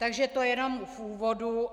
Takže to jenom v úvodu.